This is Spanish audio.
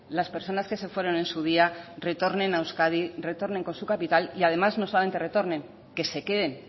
las personas que se fueron en su día retornen a euskadi retornen con su capital y además no solamente retornen que se queden